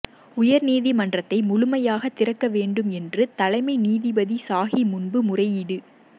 உயர்நீதிமன்றத்தை முழுமையாக திறக்க வேண்டும் என்று தலைமை நீதிபதி சாஹி முன்பு முறையீடு